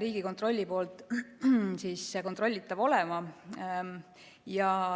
Riigikontrolli poolt kontrollitav olema.